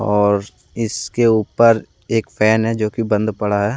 और इसके ऊपर एक फैन है जो कि बंद पड़ा है ।